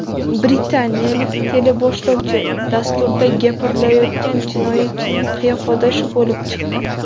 Britaniyalik teleboshlovchi dasturda gapirilayotgan jinoyatchining qiyofadoshi bo‘lib chiqdi .